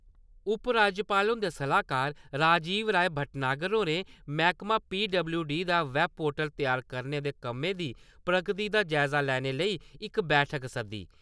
उपराज्यपाल हुन्दे सलाहकार राजीव राय भट्टनागर होरें मैह्कमा पीडबल्यूडी दा वैबपोर्टल तैयार करने दे कम्मे दी प्रगति दा जायजा लैने लेई इक बैठक सद्दी।